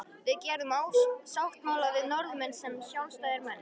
Við gerðum sáttmála við Norðmenn sem sjálfstæðir menn!